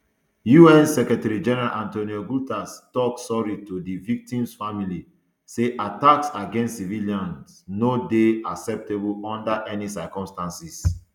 un secretarygeneral antonio guterres tok sorry to di victims family say attacks against civilians um no dey acceptable under any circumstances